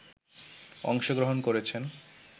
অংশগ্রহণ করেছেন